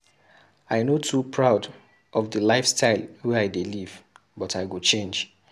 I no too proud of di lifestyle wey I dey live but I go change.